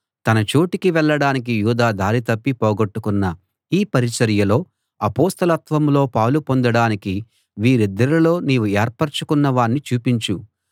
తన చోటికి వెళ్ళడానికి యూదా దారి తప్పి పోగొట్టుకొన్న ఈ పరిచర్యలో అపొస్తలత్వంలో పాలు పొందడానికి వీరిద్దరిలో నీవు ఏర్పరచుకొన్న వాణ్ణి చూపించు